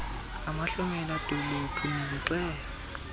amahlomela dolophu nezixeko